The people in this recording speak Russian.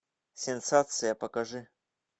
сенсация покажи